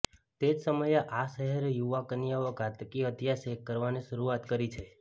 તે જ સમયે આ શહેર યુવા કન્યાઓ ઘાતકી હત્યા શેક કરવાની શરૂઆત કરી છે